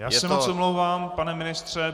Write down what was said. Já se moc omlouvám, pane ministře.